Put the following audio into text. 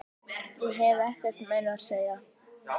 Ég hef ekkert meira að segja.